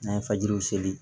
N'an ye fajiriw seli